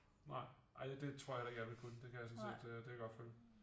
Nej ej det tror jeg heller ikke jeg ville kunne det kan jeg sådan set det kan jeg godt følge